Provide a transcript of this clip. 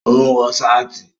Ó ń wọ sáàtì